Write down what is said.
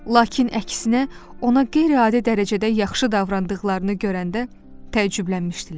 Lakin əksinə ona qeyri-adi dərəcədə yaxşı davrandıqlarını görəndə təəccüblənmişdilər.